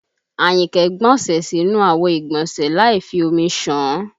Àyìnkẹ́ gbọnsẹ̀ sínú àwo ìgbọ̀nsẹ́ láì fi omi ṣàn án